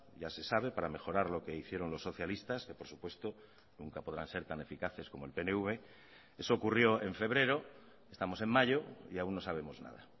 ya se sabe para mejorar lo que hicieron los socialistas que por supuesto nunca podrán ser tan eficaces como el pnv eso ocurrió en febrero estamos en mayo y aún no sabemos nada